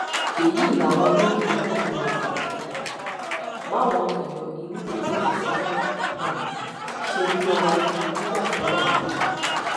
èyí làwọn ẹlẹgìrì náà ṣe darapọ um máwọn èèyàn inú òtẹẹlì tí wọn um ṣe bíi ọmọ gidi nígbà tọlọpàá dé